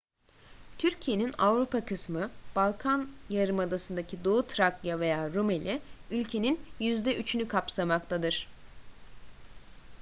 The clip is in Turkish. türkiye'nin avrupa kısmı balkan yarımadasındaki doğu trakya veya rumeli ülkenin %3'ünü kapsamaktadır